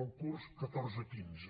el curs catorze deu cinc